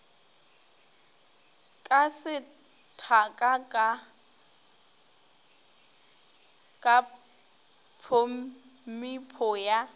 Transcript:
ka sethaka ka tphomipo ya